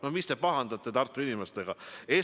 No mis te pahandate Tartu inimestega!?